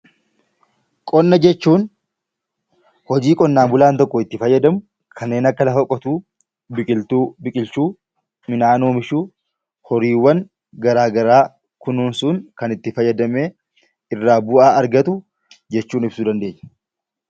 Qonna jechuun hojii qonnaa bulaan tokko itti fayyadamu kanneen akka lafa qotuu, biqiltuu biqilchuu, midhaan oomishuu, horiiwwan garaa garaa kunuunsuun kan itti fayyadamee irraa bu'aa argatu jechuun ibsuu dandeenya.